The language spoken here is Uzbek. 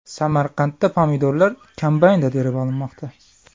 Samarqandda pomidorlar kombaynda terib olinmoqda.